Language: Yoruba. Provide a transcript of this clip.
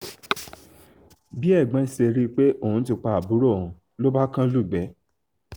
bí ẹ̀gbọ́n ṣe rí i pé òun ti pa àbúrò òun ló bá kan lugbe